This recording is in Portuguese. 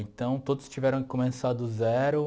Então, todos tiveram que começar do zero.